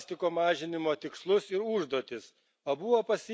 konkrečius plastiko mažinimo tikslus ir užduotis.